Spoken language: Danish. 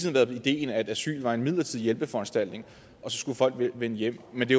har været idéen at asyl var en midlertidig hjælpeforanstaltning og så skulle folk vende hjem men det